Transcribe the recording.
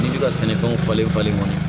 Ji ka sɛnɛfɛnw falen falen